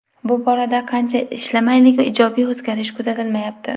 Bu borada qancha ishlamaylik ijobiy o‘zgarish kuzatilmayapti.